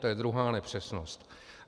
To je druhá nepřesnost.